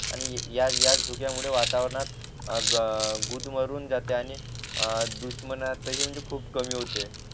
आणि याच याच धुक्यामुळे वातावरणात गुदमरून जाते आणि दुष्मणाचाही म्हणजे खूप कमी होते